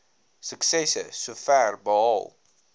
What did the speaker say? suksesse sover behaal